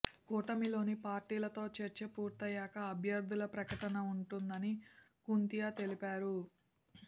కూటమిలోని పార్టీలతో చర్చలు పూర్తయ్యాకే అభ్యర్థుల ప్రకటన ఉంటుందని కుంతియా తెలిపారు